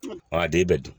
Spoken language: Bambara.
a den bɛɛ dun